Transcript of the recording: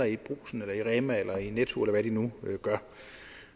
i brugsen eller i rema tusind eller i netto eller hvad de nu gør